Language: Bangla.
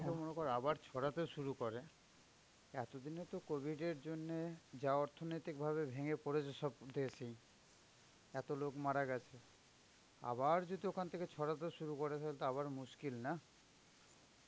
মনেকর ছড়াতে শুরু করে, এতো দিনে তো covid এর জন্যে যা অর্থনৈতিক ভাবে ভেঙে পড়েছে সব এত লোক মারা গ্যাছে আবার যদি ওখান থেকে ছড়াতে শুরু করে তালে তো আবর মুস্কিল নাঃ